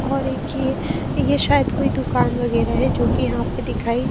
और एक ये शायद कोई दुकान वगैरह है जो कि यहां पे दिखाई--